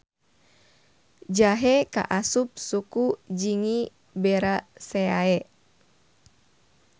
Jahe kaasup suku Zingiberaceae.